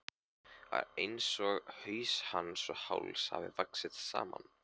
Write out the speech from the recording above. Það er einsog haus hans og háls hafi vaxið saman.